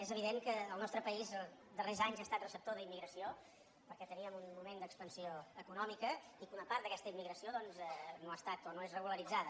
és evident que el nostre país els darrers anys ha estat receptor d’immigració perquè teníem un moment d’expansió econòmica i que una part d’aquesta immigració doncs no ha estat o no és regularitzada